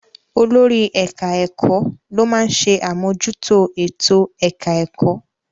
Olórí ẹ̀ka-ẹ̀kọ́ ló máa ń ṣe àmójútó ètò-ẹ̀ka ẹ̀kọ́.